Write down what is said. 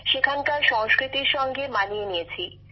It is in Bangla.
সেখানকার সংস্কৃতির সঙ্গে মানিয়ে নিয়েছি